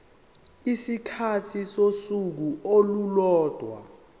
isikhathi sosuku olulodwa